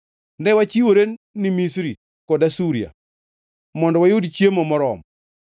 Ne wachiwore ni Misri kod Asuria mondo wayud chiemo moromo.